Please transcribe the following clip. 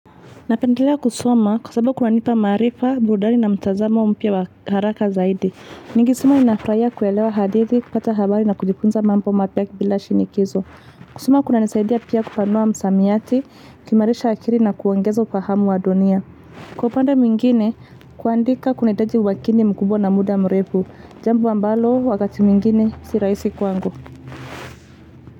Napendelea kusoma kwa sababu kunanipa marifa, burudani na mtazamo mpya wa haraka zaidi. Nikisoma ninafurahia kuelewa hadithi, kupata habari na kujifunza mambo mapya bila shinikizo kusoma kuna nisaidia pia kufanua msamiati, kuimarisha akili na kuongeza ufahamu wa dunia. Kwa upande mwingine, kuandika kunahitaji umakini mkubwa na muda mrefu, jambo ambalo wakati mingine si rahisi kwangu.